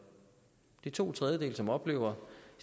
er to tredjedele som oplever